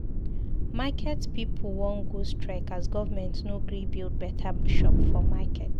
Market pipu wan go strike as government no gree build beta shop for market